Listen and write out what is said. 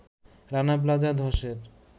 রানা প্লাজা ধসের